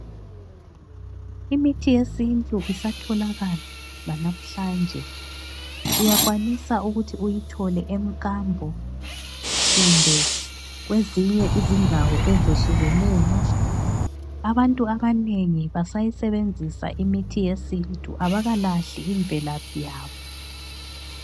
Imithi yesintu isatholakala lanamhlanje. Uyakwanisa ukuthi uyithole emkambo kumbe kwezinye izindawo eziyehlukeneyo. Abantu abanengi basayisebenzisa imithi yesintu abakalahli imvelaphi yabo.